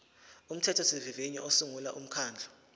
umthethosivivinyo usungula umkhandlu